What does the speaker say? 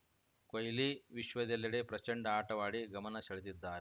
ಕೊಹ್ಲಿ ವಿಶ್ವದೆಲ್ಲೆಡೆ ಪ್ರಚಂಡ ಆಟವಾಡಿ ಗಮನ ಸೆಳೆದಿದ್ದಾರ್